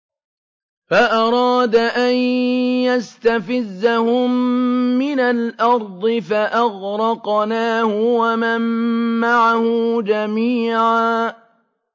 فَأَرَادَ أَن يَسْتَفِزَّهُم مِّنَ الْأَرْضِ فَأَغْرَقْنَاهُ وَمَن مَّعَهُ جَمِيعًا